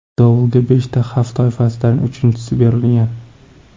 Dovulga beshta xavf toifasidan uchinchisi berilgan.